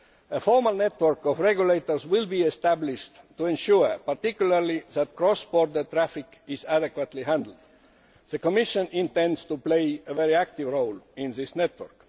A formal network of regulators will be established to ensure particularly that cross border traffic is adequately handled. The Commission intends to play a very active role in this network.